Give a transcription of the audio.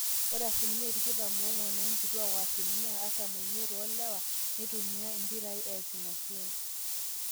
ore asilimia 24% oonkituaak o asilimia 45% oolewa neitumia impirai ees inasiai